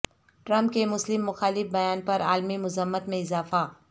Trump کے مسلم مخالف بیان پر عالمی مذمت میں اضافہ